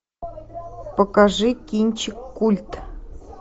покажи кинчик культ